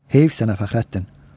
Heyif sənə, Fəxrəddin.